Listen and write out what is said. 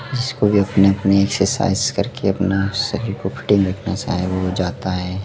जिसको भी अपने अपने एक्सरसाइज करके अपना शरीर को फिटिंग रखना साहब हो जाता हैं।